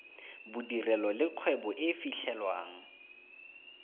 bodirelo le kgwebo e fitlhelwang